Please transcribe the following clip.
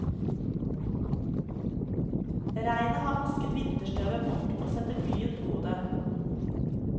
Regnet har vasket vinterstøvet bort og setter byen på hodet.